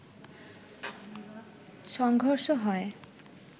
সংঘর্ষহয়